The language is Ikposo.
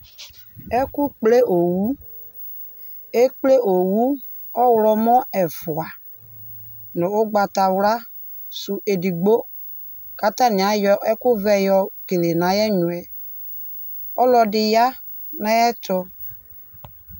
Ɛkʋkple owu, ekple owu ɔɣlɔmɔ ɛfʋa nʋ ʋgbatawla sʋ edigbo kʋ atanɩ ayɔ ɛkʋ vɛ yɔkele nʋ ayʋ ɛnyɔ yɛ, ɔlɔdɩ ya nʋ ayʋ ɛtʋ